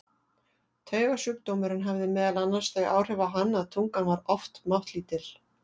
Taugasjúkdómurinn hafði meðal annars þau áhrif á hann að tungan var oft máttlítil.